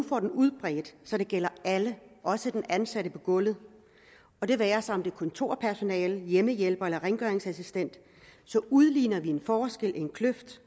får den udbredt så den gælder alle også den ansatte på gulvet og det være sig kontorpersonale hjemmehjælper eller rengøringsassistent udligner vi den forskel den kløft